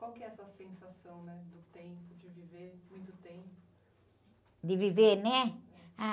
Qual que é a sua sensação, né? Do tempo, de viver muito tempo?e viver, né? Ah...